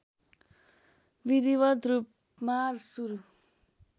विधिवत रूपमा सुरु